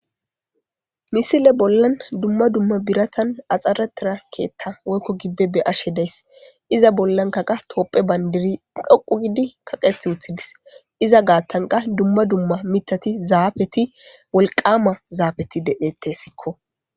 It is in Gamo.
misile bollan dumma dumma biratan axxaratira keethta woykko gibbe be ashe days iza bollankaqa toopphe bandiri dhoqu gidi kaqeth wuthidis iza gaattanka dumma dumma mitati zaafeti wolqama zaafeti dedettessikko